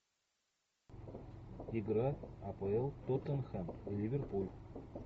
игра апл тоттенхэм ливерпуль